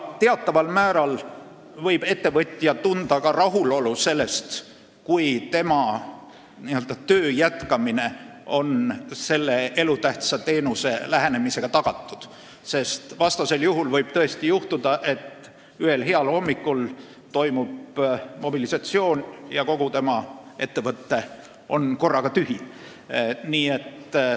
Teataval määral võib ettevõtja tunda ka rahulolu, kui tema töö jätkumine on selle elutähtsa teenuse lähenemisega tagatud, vastasel juhul võib juhtuda, et ühel heal hommikul toimub mobilisatsioon ja kogu tema ettevõte on korraga inimestest tühi.